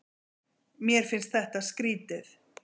Mér finnst þetta skrýtið.